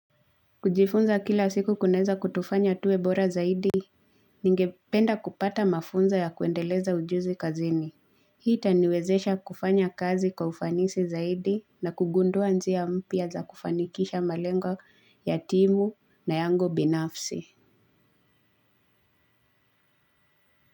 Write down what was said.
Kujifunza kila siku kuneza kutufanya tuwe bora zaidi. Ningependa kupata mafunza ya kuendeleza ujuzi kazini. Hii itaniwezesha kufanya kazi kwa ufanisi zaidi na kugundua njia mpya za kufanikisha malengo ya timu na yangu binafsi.